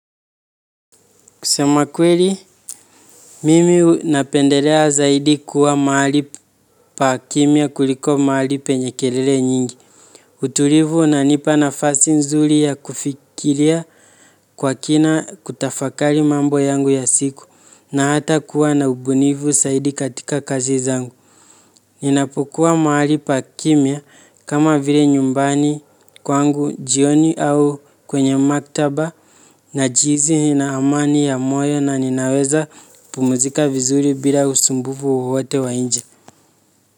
Kusema kweli, mimi napendelea zaidi kuwa mahali pa kimya kuliko mahali penye kelele nyingi. Utulivu unanipa nafasi nzuri ya kufikiria kwa kina kutafakari mambo yangu ya siku na hata kuwa na ubunifu zaidi katika kazi zangu. Ninapokua mahali pa kimya kama vile nyumbani kwangu jioni au kwenye maktaba najihisi nina amani ya moyo na ninaweza pumzika vizuri bila usumbufu wowote wa nje.